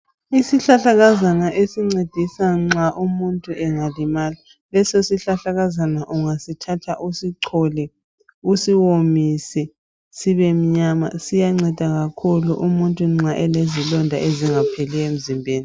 Isihlahlakazana esincedisa nxa umuntu engalimala, lesi sihlahlakazama ungasithatha usichole usiwomise siyanceda kakhulu nxa umuntu elezilonda ezingapheliyo emzimbeni .